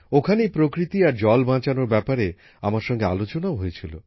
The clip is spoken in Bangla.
ওখানেই প্রকৃতি আর জল বাঁচানোর ব্যাপারে আমার সঙ্গে আলোচনাও হয়েছিল